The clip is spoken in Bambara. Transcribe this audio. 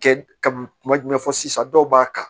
Kɛ ka kuma jumɛn fɔ sisan dɔw b'a kan